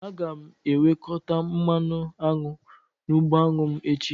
Aga m ewekọta mmanụ aṅụ n'ugbo anụ m echi